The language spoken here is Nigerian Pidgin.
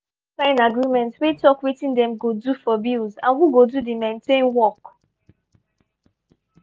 everybody don sign agreement wey talk wetin dem go do for bills and who go do the maintain work.